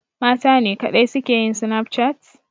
Matane kaɗai suke yin Snapchat?